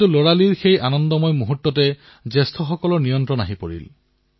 কিন্তু এদিন সেই হাঁহিফুৰ্তিৰ শৈশৱত ডাঙৰে দখল দিয়া আৰম্ভ কৰিলে